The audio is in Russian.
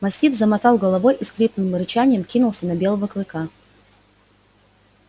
мастиф замотал головой и с хриплым рычанием ринулся на белого клыка